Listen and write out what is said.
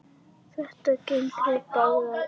Þetta gengur í báðar áttir.